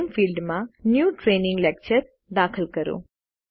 નામે ફિલ્ડમાં new training lecture દાખલ કરો